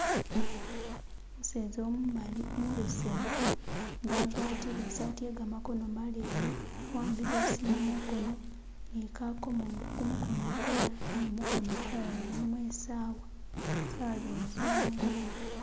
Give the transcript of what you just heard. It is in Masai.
Umuseza umumali umubesemu nga agwatile isaati ye gamakono maleyi awambile isimu mukono ni kakomo kumukono mukulala naye mukono mukulala mulino isawa sawa zene zehangolobe.